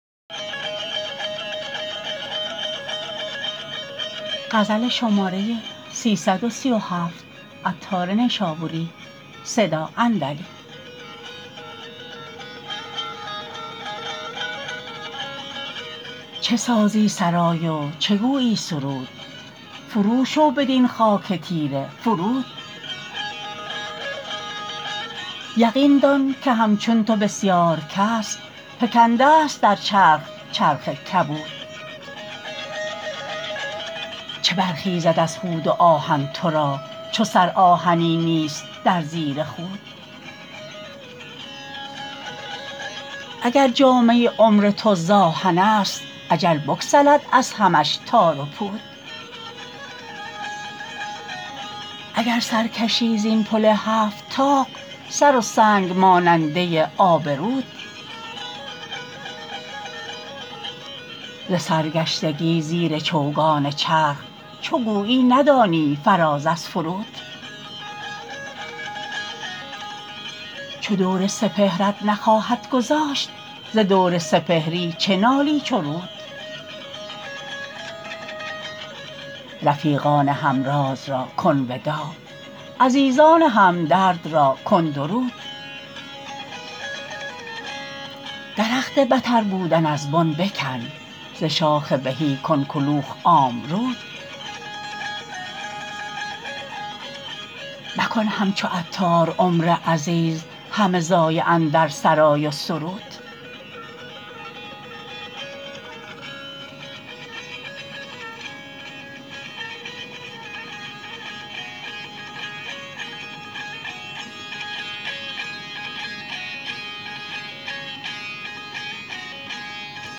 چه سازی سرای و چه گویی سرود فروشو بدین خاک تیره فرود یقین دان که همچون تو بسیار کس فکندست در چرخ چرخ کبود چه برخیزد از خود و آهن تو را چو سر آهنین نیست در زیر خود اگر جامه عمر تو زآهن است اجل بگسلد از همش تار و پود اگر سر کشی زین پل هفت طاق سر و سنگ ماننده آب رود ز سرگشتگی زیر چوگان چرخ چو گویی ندانی فراز از فرود چو دور سپهرت نخواهد گذاشت ز دور سپهری چه نالی چو رود رفیقان هم راز را کن وداع عزیزان همدرد را کن درود درخت بتر بودن از بن بکن ز شاخ بهی کن کلوخ آمرود مکن همچو عطار عمر عزیز همه ضایع اندر سرای و سرود